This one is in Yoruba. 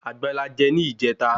Àgbọn la je ni ijeta